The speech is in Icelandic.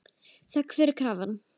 Þöggun var krafan.